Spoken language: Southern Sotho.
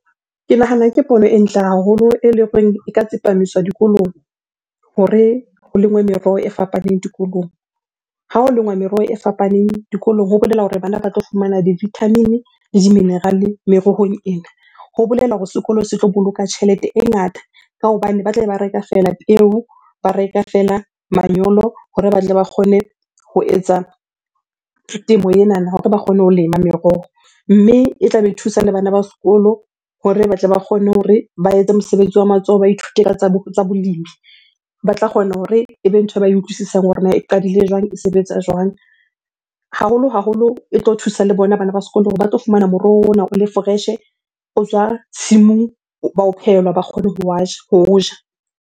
Ke nahana ke pono e ntle haholo eleng horeng e ka tsepamiswa dikolong hore ho lengwe meroho e fapaneng dikolong. Ha ho lenngwa meroho e fapaneng dikolong, ho bolela hore bana ba tlo fumana di-vitamin-e le di-mineral-e merohong ena. Ho bolela hore sekolo se tlo boloka tjhelete e ngata ka hobane ba tlabe ba reka feela peo, ba reka feela manyolo hore ba tle ba kgone ho etsa temo enana, hore ba kgone ho lema meroho. Mme e tlabe e thusa le bana ba sekolo hore batle ba kgone hore ba etse mosebetsi wa matsoho, ba ithute ka tsa bolemi. Ba tla kgona hore ebe ntho e ba e utlwisisang hore na e qadile jwang? E sebetsa jwang? Haholo-haholo e tlo thusa le bona bana ba sekolo hore ba tlo fumana moroho ona o le fresh-e, o tswa tshimong, ba o phehelwa ba kgone ho wa ja, ho o ja.